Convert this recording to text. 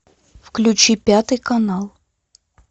включи пятый канал